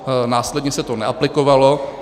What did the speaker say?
Následně se to neaplikovalo.